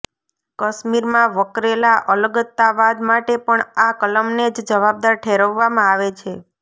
કશ્મીરમાં વકરેલા અલગતાવાદ માટે પણ આ કલમને જ જવાબદાર ઠેરવવામાં આવે છે